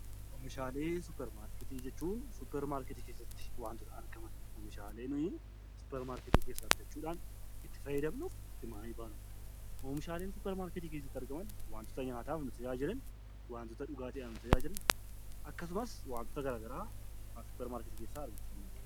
Oomishaslee Suuparmaarketii jechuun suuparmaarketii keessatti wantoota argaman, oomishaalee nuyi suuparmaarketii keessaa bitachuudhaan itti fayyadamnus Oomishaaleen suuparmarketii keessatti argaman, wantoota nyaataaf nu tajaajilan, wantoota dhugaatiidhaaf nu tajaajilan, akkasumas wantoota gara garaa suuparmaarketii keessaa argachuu dandeenya.